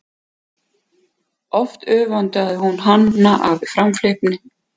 Oft öfundaði hún hana af framhleypni hennar og ákveðni þótt henni fyndist stundum nóg um.